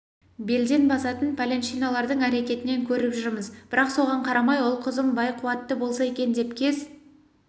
белден басатын пәленшещиналардың әрекетінен көріп жүрміз бірақ соған қарамай ұл-қызым бай-қуатты болса екен деп кез